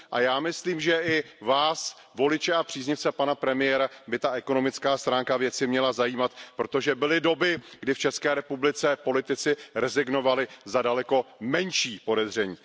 Já myslím, že i vás, voliče a příznivce pana premiéra, by ta ekonomická stránka věci měla zajímat, protože byly doby, kdy v České republice politici rezignovali za daleko menší podezření.